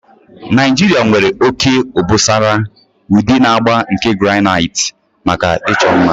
Naijiria nwere oke obosara, udi na agba nke granite maka ịchọ mma.